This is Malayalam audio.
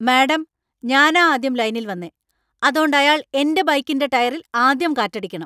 മാഡം, ഞാനാ ആദ്യം ലൈനിൽ വന്നേ , അതോണ്ട് അയാള്‍ എന്‍റെ ബൈക്കിന്‍റെ ടയറില്‍ ആദ്യം കാറ്റടിയ്ക്കണം.